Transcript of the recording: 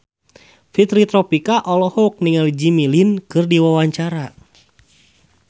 Fitri Tropika olohok ningali Jimmy Lin keur diwawancara